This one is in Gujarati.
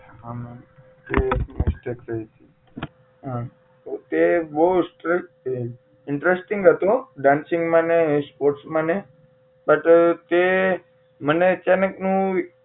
હા મેમ એ એક mistake થઇ હતી એ બહુ stress છે interesting હતો dance માં ને sports માંને but તે મને અચાનક નું